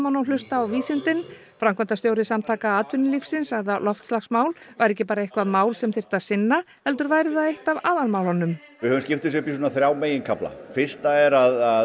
og hlusta á vísindin framkvæmdastjóri Samtaka atvinnulífsins sagði að loftslagsmál væru ekki bara eitthvað mál sem þyrfti að sinna heldur væri það eitt af aðalmálunum við höfum skipt upp í þrjá meginkafla fyrsta er að